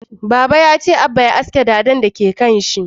Baba ya ce Abba ya haske dadan da ke kanshi